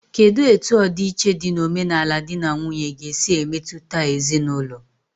Kedụ etu ọdi iche dị n'omenala dị na nwunye ga-esi emetụta ezinaụlọ?